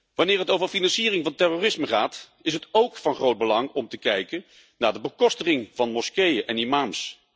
Wanneer het over financiering van terrorisme gaat is het ook van groot belang om te bekijken naar de bekostiging van moskeeën en imams.